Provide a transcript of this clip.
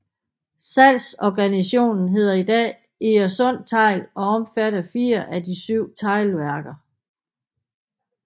Salgsorganisationen hedder i dag Egernsund Tegl og omfatter fire af de syv teglværker